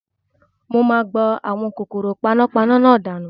Mo máa gbá àwọn kòkòrò panápaná náà dànù